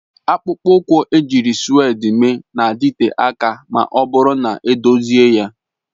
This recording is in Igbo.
Akpụkpọ ụkwụ ejiri sụ́wédi mee na-adịte aka ma ọ bụrụ na edozie ya